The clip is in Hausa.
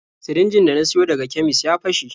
Sirinjin da na siyo daga kemis ya fashe.